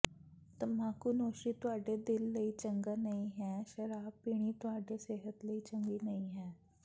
ਤਮਾਕੂਨੋਸ਼ੀ ਤੁਹਾਡੇ ਦਿਲ ਲਈ ਚੰਗਾ ਨਹੀਂ ਹੈ ਸ਼ਰਾਬ ਪੀਣੀ ਤੁਹਾਡੀ ਸਿਹਤ ਲਈ ਚੰਗੀ ਨਹੀਂ ਹੈ